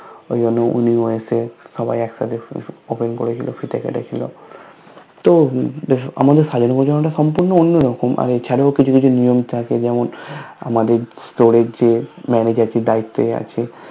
ঐজন্য উনিও এসে একসাথে Open করেছিল ফিতে কেটেছিল তো আমাদের সাজানো গুছানোটা সম্পূর্ণ অন্য রকম আর এছাড়াও কিছু নিয়ম থাকে যেমন আমাদের Store এর যে Manager যে দায়িত্বে আছে